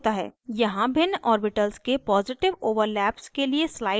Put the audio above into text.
यहाँ भिन्न ऑर्बिटल्स के positive overlap के लिए slide है